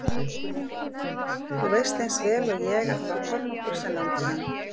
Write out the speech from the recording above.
Þú veist eins vel og ég að það var Kormákur sem lamdi hann.